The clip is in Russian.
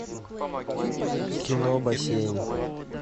кино бассейн